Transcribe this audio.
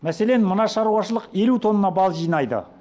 мәселен мына шаруашылық елу тонна бал жинайды